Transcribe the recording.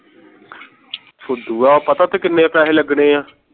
ਫੁਦੂਆ ਪਤਾ ਉਤੇ ਕੀਨੇ ਪੈਸੇ ਲਗਨੇ ਆ